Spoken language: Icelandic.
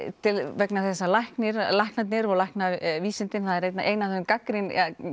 vegna þess að læknarnir að læknarnir og læknavísindin en það er ein af þeim gagnrýnum